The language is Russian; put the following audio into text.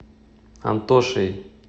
антошей